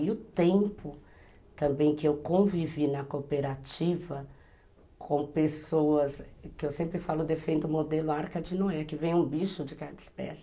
E o tempo também que eu convivi na cooperativa com pessoas, que eu sempre falo, defendo o modelo Arca de Noé, que vem um bicho de cada espécie.